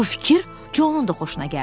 Bu fikir Conun da xoşuna gəldi.